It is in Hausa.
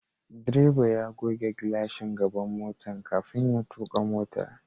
Direban ya goge glashin gaban motan kafin ya tuka motar.